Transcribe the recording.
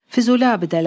Füzuli abidələri.